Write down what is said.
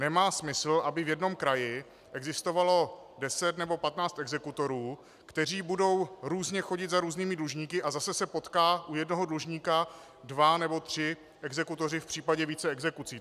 Nemá smysl, aby v jednom kraji existovalo 10 nebo 15 exekutorů, kteří budou různě chodit za různými dlužníky a zase se potkají u jednoho dlužníka dva nebo tři exekutoři v případě více exekucí.